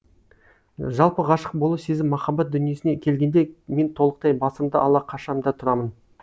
жалпы ғашық болу сезім махаббат дүниесіне келгенде мен толықтай басымды ала қашам да тұрамын